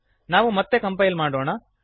ನಾವು ಮತ್ತೆ ಕಂಪೈಲ್ ಮಾಡೋಣ